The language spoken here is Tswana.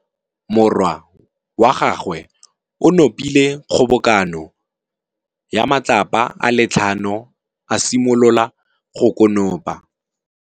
Morwa wa gagwe o nopile kgobokanô ya matlapa a le tlhano, a simolola go konopa.